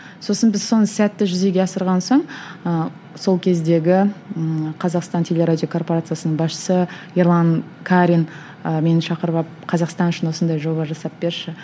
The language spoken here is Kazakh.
сосын біз соны сәтті жүзеге асырған соң ыыы сол кездегі ыыы қазақстан теле радио корпорациясының басшысы ерлан карин ы мені шақырып алып қазақстан үшін осындай жоба жасап берші